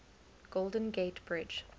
golden gate bridge